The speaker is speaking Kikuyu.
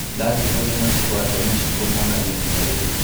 Ndathĩĩ ngũthiĩ mũciĩ gwake mũciĩ kumuona ivinda rĩrĩ".